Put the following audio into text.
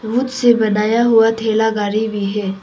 से बनाया हुआ ठेला गाड़ी भी है।